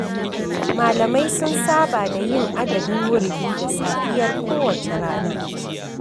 Malamai sun saba da yin adadin wuridi da safiyar kowace rana.